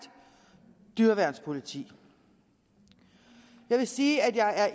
dyreværnspoliti jeg vil sige at jeg er